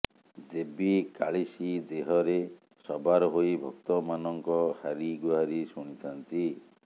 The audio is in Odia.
ଦେବୀ କାଳିସୀ ଦେହରେ ସବାର ହୋଇ ଭକ୍ତ ମାନଙ୍କ ହାରି ଗୁହାରୀ ସୁଣିଥାନ୍ତି